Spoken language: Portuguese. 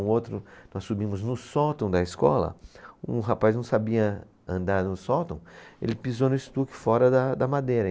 Um outro, nós subimos no sótão da escola, um rapaz não sabia andar no sótão, ele pisou no estuque fora da, da madeira.